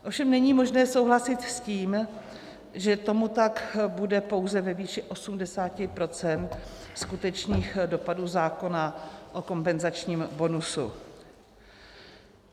Ovšem není možné souhlasit s tím, že tomu tak bude pouze ve výši 80 % skutečných dopadů zákona o kompenzačním bonusu.